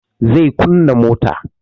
Zai kunna motan